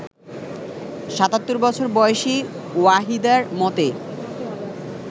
৭৭ বছর বয়সী ওয়াহিদার মতে